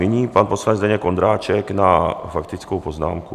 Nyní pan poslanec Zdeněk Ondráček na faktickou poznámku.